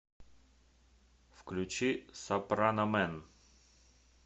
включи сопраномэн